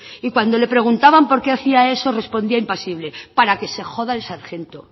y cuando le preguntaban por qué hacía eso respondía impasible para que se joda el sargento